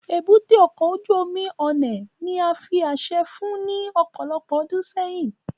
Ébúté ọkọ ojú omi Onne ni a fi aṣẹ fun ni ọpọlọpọ ọdun sẹyin